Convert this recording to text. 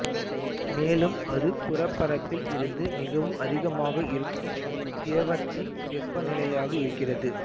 மேலும் அது புறப்பரப்பில் இருந்து மிகவும் அதிகமாக இருக்கும் திரவத்தின் வெப்பநிலையாக இருக்கிறது